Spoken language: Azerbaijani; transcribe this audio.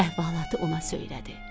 Əhvalatı ona söylədi.